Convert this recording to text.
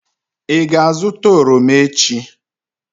ị ga-azụta oroma echi?